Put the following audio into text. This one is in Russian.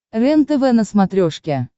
рентв на смотрешке